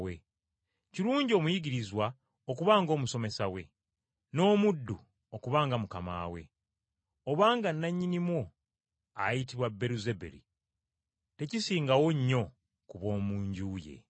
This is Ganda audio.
Kirungi omuyigirizwa okuba ng’omusomesa we, n’omuddu okuba nga mukama we. Obanga nnannyinimu ayitibwa Beeruzebuli, tekisingawo nnyo ku b’omu nju ye.